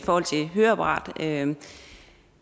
høreapparater kan